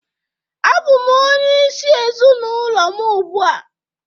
Abụ m onyeisi ezinụlọ m ugbu a